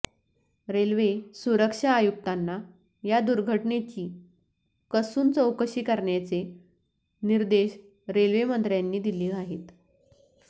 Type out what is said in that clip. railway सुरक्षा आयुक्तांना या दुर्घटनेची कसून चौकशी करण्याचे निर्देश रेल्वे मंत्र्यांनी दिले आहेत